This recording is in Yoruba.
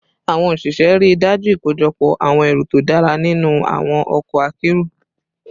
Awon osise rii daju ikojọpọ awọn ẹru to dara sinu awọn ọkọ akero